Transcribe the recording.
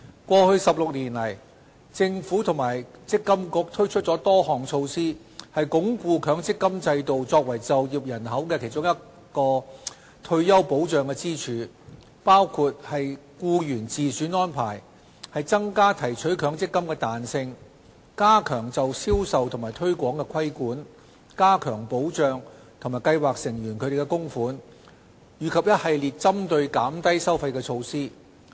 過去16年，政府和積金局推出了多項措施，以鞏固強積金制度作為就業人口的其中一根退休保障支柱，包括"僱員自選安排"、增加提取強積金的彈性、加強就銷售與推廣的規管、加強保障計劃成員的供款，以及一系列針對減低收費的措施。